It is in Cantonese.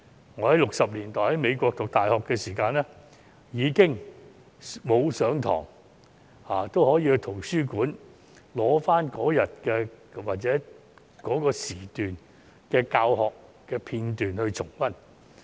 我於1960年代在美國讀大學時，即使沒有上堂也可以到圖書館取回指定時段的教學片段重溫。